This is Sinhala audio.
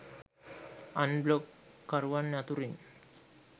අන් බ්ලොග් කරුවන් අතුරින්